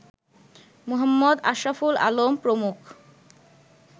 মুহম্মদ আশরাফুল আলম প্রমুখ